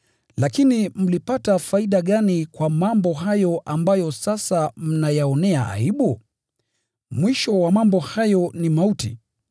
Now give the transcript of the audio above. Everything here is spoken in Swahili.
Lakini mlipata faida gani kwa mambo hayo ambayo sasa mnayaonea aibu? Mwisho wa mambo hayo ni mauti.